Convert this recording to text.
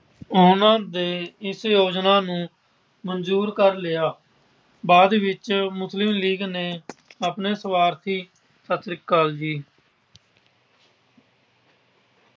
ਉਹਨਾਂ ਨੇ ਇਸ ਯੋਜਨਾ ਨੂੰ ਮਨਜੂਰ ਕਰ ਲਿਆ। ਬਾਅਦ ਵਿੱਚ ਮੁਸਲਿਮ ਲੀਗ ਨੇ ਆਪਣੇ ਸੁਆਰਥੀ। ਸਤਿ ਸ੍ਰੀ ਅਕਾਲ ਜੀ।